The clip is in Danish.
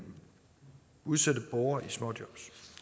udsatte borgere til småjobs